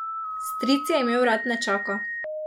Stric je imel rad nečaka.